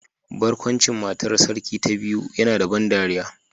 Barkwancin matar sarki ta biyu yana da ban dariya